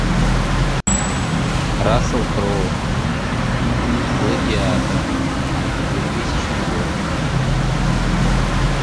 рассел кроу гладиатор двухтысячный год